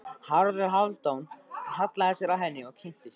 Haraldur Hálfdán hallaði sér að henni og kynnti sig.